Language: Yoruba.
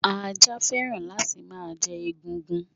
Ajá fẹ́ràn láti má jẹ egungun